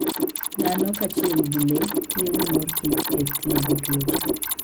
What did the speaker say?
Dhano kaachiel gi le tiyo gi mor kich e thiedho tuoche.